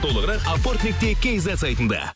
толығырақ апорт нүкте кизет сайтында